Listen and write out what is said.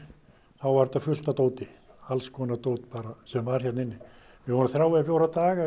þá var þetta fullt af dóti alls konar dót sem var hérna inni vorum þrjá til fjóra daga